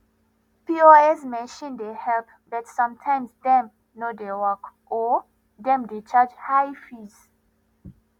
pos machine dey help but sometimes dem no dey work or dem dey charge high fees